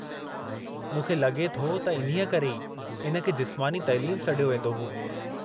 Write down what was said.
मूंखे लगे॒ थो त इन्हीअ करे ई इन खे जिस्मानी तइलीम सॾियो वेंदो हो।